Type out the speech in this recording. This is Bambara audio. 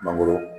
Mangoro